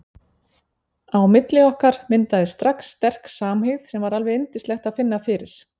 Á milli okkar myndaðist strax sterk samhygð sem var alveg yndislegt að finna fyrir.